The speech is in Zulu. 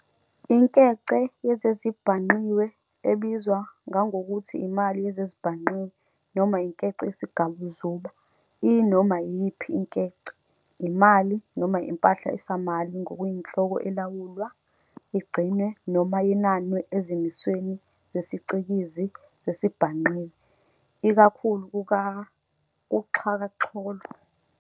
Inkece yezezibhangqiwe, ebizwa ngangokuthi imali yezezibhangqiwe, noma inkece yesigabuzuba, iyinoma iyiphi inkece, imali, noma impahla esamali ngokuyinhloko elawulwa, igcinwe noma yenanwe ezimisweni zesiCikizi sezezibhangqiwe, ikakhulu kuxhakaxholo.